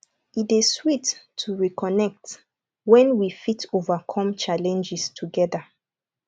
e dey sweet to reconnect when we fit overcome challenges together